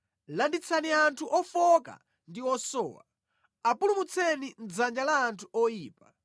Landitsani anthu ofowoka ndi osowa; apulumutseni mʼdzanja la anthu oyipa.